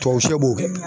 Tuwaw sɛbɛ